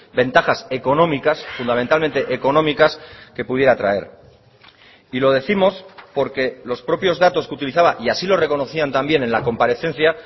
ventajas económicas fundamentalmente económicas que pudiera traer y lo décimos porque los propios datos que utilizaba y así lo reconocían también en la comparecencia